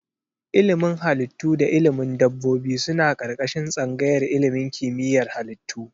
Ilimin Halittu da ilimin dabbobi suna ƙarƙashin tsangayar ilimin kimiyyar halittu.